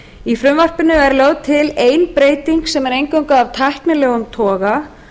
í frumvarpinu er lögð til ein breyting sem er eingöngu af tæknilegum toga